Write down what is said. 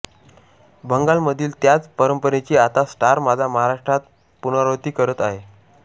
बंगालमधील त्याच परंपरेची आता स्टार माझा महाराष्ट्रात पुनरावृत्ती करत आहे